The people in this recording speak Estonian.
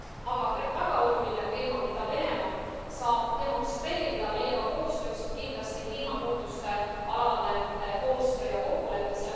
Aga väga oluline teema, mida Venemaa saab demonstreerida meiega koostööks, on kindlasti kliimamuutuste alane koostöö ja kokkulepe.